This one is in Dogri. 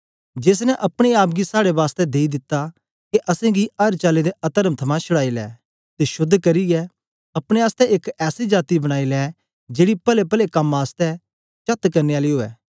जेस ने अपने आप गी साड़े बासतै देई दिता के असेंगी अर चाली दे अतर्म थमां छुड़ाई लै ते शोद्ध करियै अपने आसतै एक ऐसी जाती बनाई लै जेड़ी पलेपले कम आसतै चात करने आली उवै